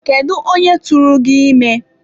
Kedụ onye tụrụ gị ime?